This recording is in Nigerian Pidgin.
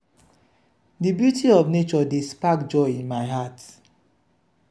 di beauty of nature dey spark joy in my heart.